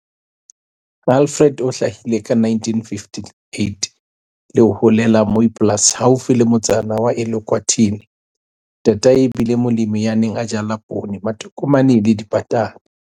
Alfred o hlahile ka 1958 le ho holela Mooiplaas haufi le motsana wa Elukwatini. Ntatae e bile molemi ya neng a jala poone, matokomane le dipatata.